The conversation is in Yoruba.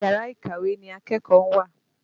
Yàrá ìkàwé ni akẹ́kọ̀ọ́ ń wà.